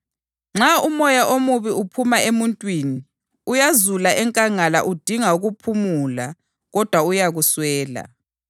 Nxa umoya omubi uphuma emuntwini, uyazula enkangala udinga ukuphumula kodwa uyakuswela.